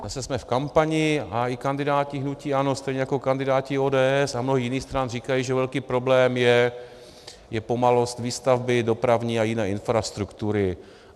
Zase jsme v kampani a i kandidáti hnutí ANO stejně jako kandidáti ODS a mnoho jiných stran říkají, že velký problém je pomalost výstavby dopravní a jiné infrastruktury.